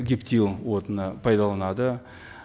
гептил отынын пайдаланады